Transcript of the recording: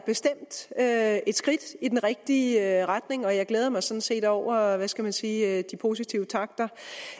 bestemt er et skridt i den rigtige retning og jeg glæder mig sådan set over hvad skal man sige de positive takter